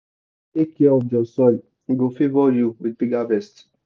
if you take care of your soil e go favour you with big harvest.